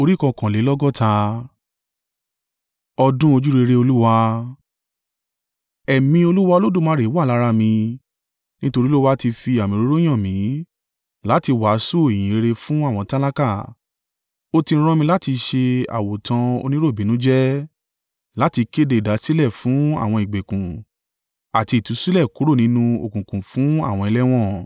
Ẹ̀mí Olúwa Olódùmarè wà lára mi nítorí Olúwa ti fi àmì òróró yàn mí láti wàásù ìyìnrere fún àwọn tálákà. Ó ti rán mi láti ṣe àwòtán oníròbìnújẹ́ láti kéde ìdásílẹ̀ fún àwọn ìgbèkùn àti ìtúsílẹ̀ kúrò nínú òkùnkùn fún àwọn ẹlẹ́wọ̀n,